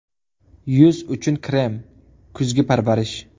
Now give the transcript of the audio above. Yuz uchun krem: kuzgi parvarish.